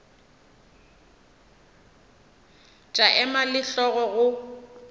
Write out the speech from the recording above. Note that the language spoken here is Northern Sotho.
tša ema le hlogo go